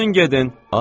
Çıxın gedin!